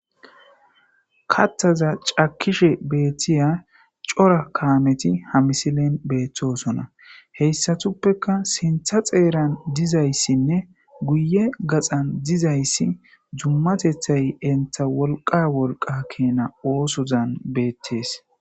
kattaza cakishe beettiya cora kaameti hamisilen beetthosona heyssatuppeka sintha xeeran dizayssinne guye gaxan dizayssi dummatethay entha wolqa wolqa keena oosozan beettees